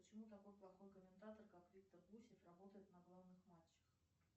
почему такой плохой комментатор как виктор гусев работает на главных матчах